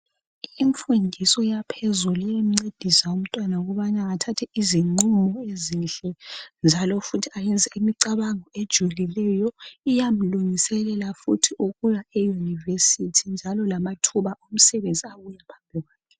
Imfundiso yaphezulu iyancedisa umntwana ukubana athathe izinqumo ezinhle njalo futhi ayenze imicabango ejulileyo iyamlungiselela futhi ukuya eYunivesithi njalo lamathuba omsebenzi ayabakhona.